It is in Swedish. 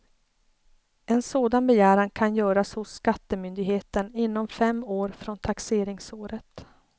En sådan begäran kan göras hos skattemyndigheten inom fem år från taxeringsåret.